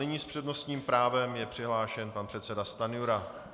Nyní s přednostním právem je přihlášen pan předseda Stanjura.